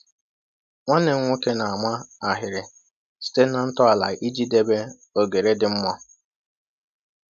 Nwanne m nwoke na-ama ahịrị site na ntọala iji debe oghere dị mma.